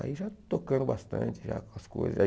Aí já tocando bastante já com as coisas.